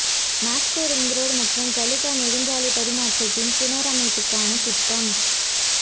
Moscow ring road மற்றும் Kaluga நெடுஞ்சாலை பரிமாற்றத்தின் புனரமைப்புக்கான திட்டம்